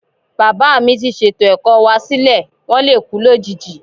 Bàbáà mi ti ṣètò ẹ̀kọ́ wá sílẹ̀. Wón lè kú lójijì.